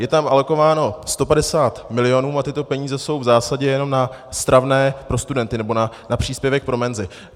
Je tam alokováno 150 milionů a tyto peníze jsou v zásadě jenom na stravné pro studenty nebo na příspěvek pro menzy.